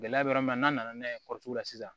Gɛlɛya bɛ yɔrɔ min na n'a nana n'a ye la sisan